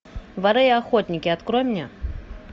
воры и охотники открой мне